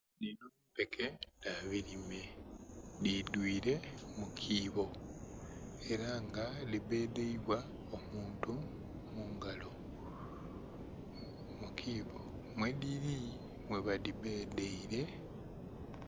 Dhino mpeke dha bilime dhi dhwire mu bibbo era nga dhi bedheibwa omuntu mungalo, mukiibo mwe dhiri mwe ba dhi bedheire.